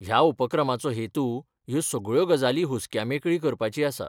ह्या उपक्रमाचो हेतू ह्यो सगळ्यो गजाली हुस्क्या मेकळी करपाची आसा.